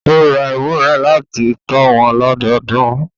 Ó ra ewúrẹ́ láti tọ́ wọn lọ́dọdún